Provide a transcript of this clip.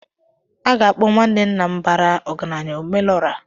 A ga-akpọ nwanne nna m bara ọgaranya "Omelọra"